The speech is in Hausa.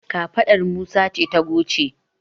kafaɗar Musa ce ta goce